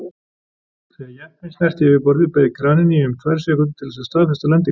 Þegar jeppinn snerti yfirborðið beið kraninn í um tvær sekúndur til þess að staðfesta lendinguna.